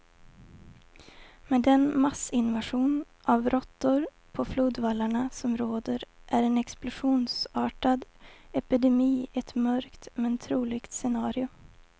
Med den massinvasion av råttor på flodvallarna som råder är en explosionsartad epidemi ett mörkt, men troligt scenario.